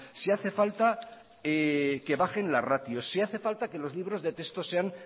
si hace falta que bajen las ratios si hace falta que los libros de texto sean